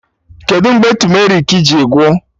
Kedụ mgbe tumerik ji gwụ?